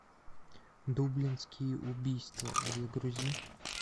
дублинские убийства загрузи